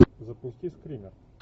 запусти скример